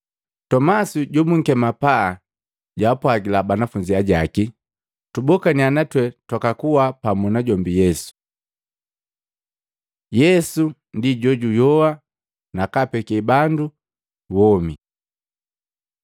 Tomasi jobunkema Mapaa jwaapwagila banafunzi ajaki, “Tubokaniya na twee twakakuwa pamu najombi Yesu!” Yesu ndi jojuyoa nakapeke bandu womi